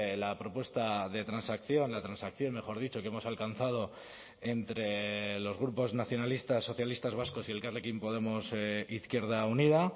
la propuesta de transacción la transacción mejor dicho que hemos alcanzado entre los grupos nacionalistas socialistas vascos y elkarrekin podemos izquierda unida